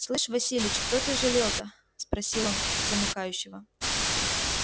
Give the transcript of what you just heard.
слышишь василич кто ты жалел-то спросил он замыкающего